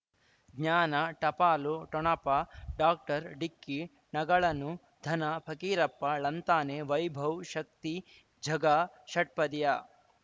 ಜ್ಞಾನ ಟಪಾಲು ಠೊಣಪ ಡಾಕ್ಟರ್ ಢಿಕ್ಕಿ ಣಗಳನು ಧನ ಫಕೀರಪ್ಪ ಳಂತಾನೆ ವೈಭವ್ ಶಕ್ತಿ ಝಗಾ ಷಟ್ಪದಿಯ